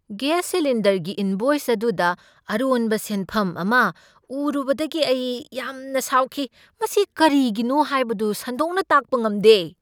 Gas ꯁꯤꯂꯤꯟꯗꯔꯒꯤ invoice ꯑꯗꯨꯗ ꯑꯔꯣꯟꯕ ꯁꯦꯟꯐꯝ ꯑꯃ ꯎꯔꯨꯕꯗꯒꯤ ꯑꯩ ꯌꯥꯝꯅ ꯁꯥꯎꯈꯤ, ꯃꯁꯤ ꯀꯔꯤꯒꯤꯅꯣ ꯍꯥꯏꯕꯗꯨ ꯁꯟꯗꯣꯛꯅ ꯇꯥꯛꯄ ꯉꯝꯗꯦ ꯫